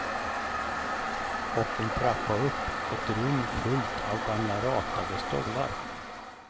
Och en trappa upp, ett rum fullt av gamla ratade stolar.